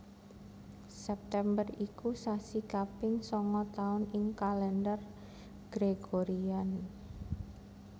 September iku sasi kaping sanga taun ing Kalendher Gregorian